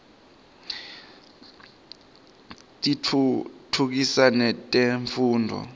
tiftutfukisa netemfundvo